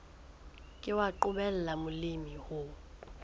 ke wa qobella molemi ho